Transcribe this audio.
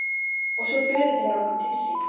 Og svo buðu þeir okkur til sín.